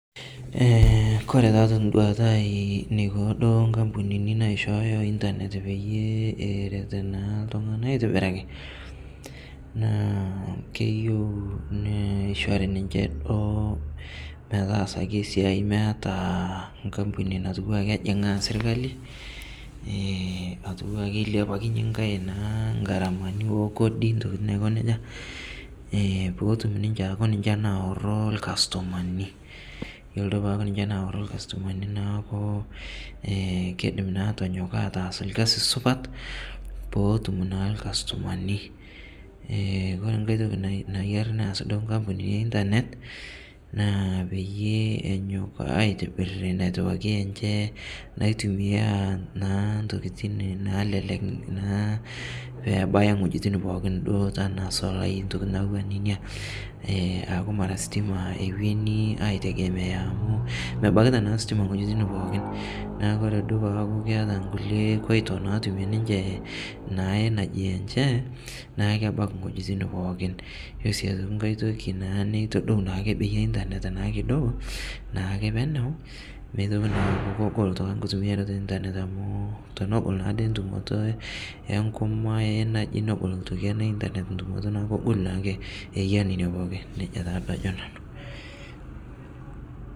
Kore taa tenduata aii neiko duo inkampunini naishooyo internet peyiee erret naa iltung'anak aitobiraki naa keyieu neishori ninche meetasaki esiai meta enkampuni naa kejing'aa sirkali neilapakinye naa nkae oo Kodi intokiting naiko nejia peetum ninche aaku ninche naoro inkastomani iyolo peeku ninche naoro inkastomani neeku keidim naa atonyok ataas olkasi supat petum naa ilkastomani ore enkae toki nayiaa naas inkampunini ee internet naa peyie enyok aitobirr naitumia intokiting' naalelek naa pee ebaya iwejitin pookin duo tenaa isolai intokiting ' naijo nena naijo ositima amu mebaikita naa ositima iwejitin pookin neeku ore duo peeyaku keeta inkulie koito naatumie ninche neku kebaiki iweitin pokin ore sii aitoki enkae toki naa neitodou naa internet akekidogo naake penu pedol naailtung'anak inkitumiarata ee internet naa amu tenegol ake entumoto entumoto ee internet entumoto naa amu kegol naa ake iya nene pookin nejia taa ajo nanu.